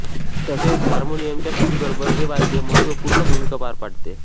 तसेच हार्मोनियमच्या साथीबरोबर हे वाद्य महत्त्वपूर्ण भूमिका पार पाडते